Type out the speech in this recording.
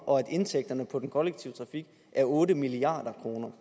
og at indtægterne på den kollektive trafik er otte milliard kroner